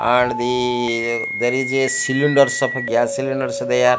and the there is a cylinder some gas cylinders are there --